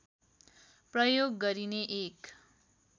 प्रयोग गरिने एक